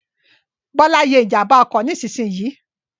Bọ́lá ye ìjànbá ọkọ̀ nísinsìnyì